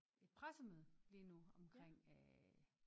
Et pressemøde lige nu omkring øh